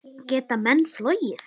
Geta menn flogið?